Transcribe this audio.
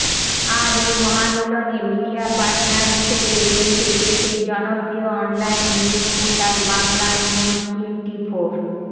আর এই মহামিলনে media partner হিসেবে রয়েছে দেশের জনপ্রিয় অনলাইন নিউজ পোর্টাল বাংলানিউজটোয়েন্টিফোর